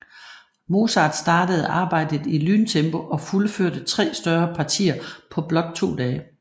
Mozart startede arbejdet i lyntempo og fuldførte tre større partier på blot to dage